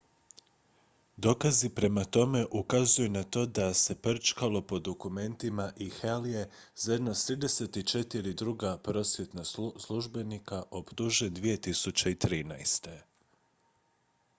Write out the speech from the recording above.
dokazi prema tome ukazuju na to da se prčkalo po dokumentima i hall je zajedno s 34 druga prosvjetna službenika optužen 2013